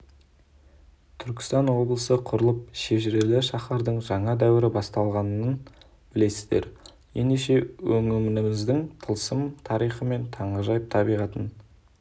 түркістан облысы құрылып шежірелі шаһардың жаңа дәуірі басталғанын білесіздер ендеше өңіріміздің тылсым тарихы мен таңғажайып табиғатын